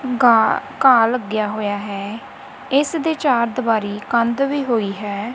ਘਾਹ-ਘਾਹ ਲੱਗਿਆ ਹੋਇਆ ਹੈ ਇਸ ਦੇ ਚਾਰ ਦੀਵਾਰੀ ਕੰਧ ਵੀ ਹੋਈ ਹੈ।